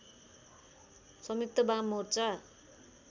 संयुक्त बाम मोर्चा